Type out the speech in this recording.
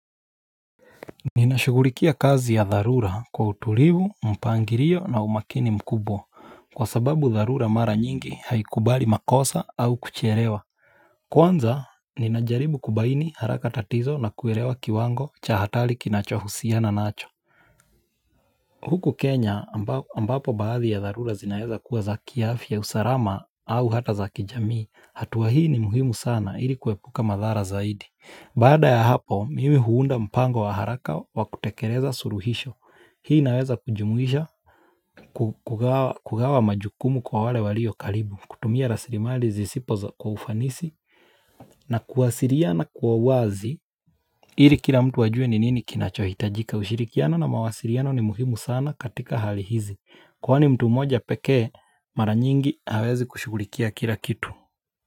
Ninashugulikia kazi ya dharura kwa utulivu, mpangilio na umakini mkubwa kwa sababu dharura mara nyingi haikubali makosa au kuchelewa Kwanza ninajaribu kubaini haraka tatizo na kuelewa kiwango cha hatari kinachohusiana nacho Huku Kenya ambapo baadhi ya dharura zinaeza kuwa za kiafya usalama au hata za kijamii hatua hii ni muhimu sana ili kuepuka madhara zaidi. Baada ya hapo mimi huunda mpango wa haraka wa kutekeleza suluhisho. Hii inaweza kujumuisha kugawa majukumu kwa wale walio karibu kutumia rasirimali zisipo kwa ufanisi na kuwasiliana kwa uwazi. Ili kila mtu ajue ni nini kinachoitajika ushirikiano na mawasiliano ni muhimu sana katika hali hizi Kwani mtu mmoja pekee mara nyingi hawezi kushugulikia kila kitu.